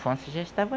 já estava